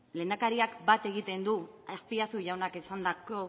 lehendakariak bat egiten du azpiazu jaunak esandako